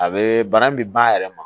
A bee bana min be ba yɛrɛ ma